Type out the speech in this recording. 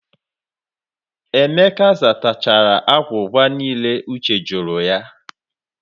Emeka zatachara agwụgwa niile Uche jụrụ ya.